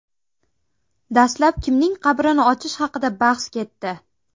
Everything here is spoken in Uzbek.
Dastlab kimning qabrini ochish haqida bahs ketdi.